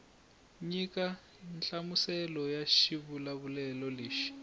nyika nhlamuselo ya xivulavulelo lexi